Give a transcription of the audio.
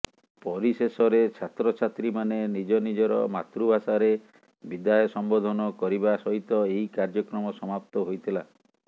ପରିଶେଷରେ ଛାତ୍ରଛାତ୍ରୀମାନେ ନିଜ ନିଜର ମାତୃଭାଷାରେ ବିଦାୟ ସମ୍ବୋଧନ କରିବା ସହିତ ଏହି କାର୍ଯ୍ୟକ୍ରମ ସମାପ୍ତ ହୋଇଥିଲା